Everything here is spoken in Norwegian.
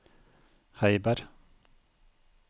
Heiberg